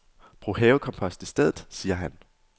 Brug havekompost i stedet, siger han.